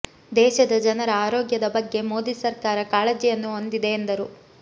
ದೇಶದ ಜನರ ಆರೋಗ್ಯದ ಬಗ್ಗೆ ಮೋದಿ ಸರ್ಕಾರ ಕಾಳಜಿಯನ್ನು ಹೊಂದಿದೆ ಎಂದರು